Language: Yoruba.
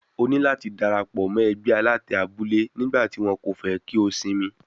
Ó ní láti dárapọ̀ mọ́ ẹgbẹ́ alátẹ abule nígbà tí wọ́n kò fẹ́ kí ó sinmi.